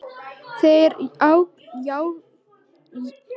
Þeir jákvæðu voru oftar karlmenn sem sendir höfðu verið í sveit sem börn.